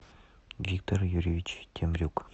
виктор юрьевич темрюк